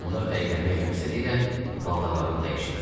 Onlar əylənmək məqsədilə paltarlarını dəyişirlər.